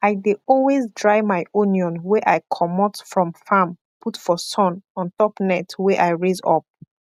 i dey always dry my onion wey i comot from farm put for sun ontop net wey i raise up